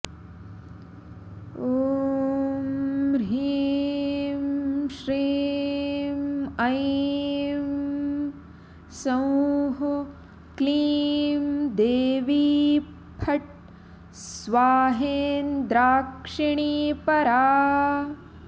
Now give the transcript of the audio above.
ॐ ह्रीं श्रीं ऐं सौंः क्लीं देवी फट् स्वाहेन्द्राक्षिणी परा